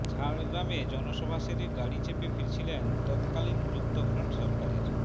ঝাড়গ্রামে জনসভা সেরে গাড়ি চেপে ফিরছিলেন তত্কালীন যুক্তফ্রন্ট সরকারের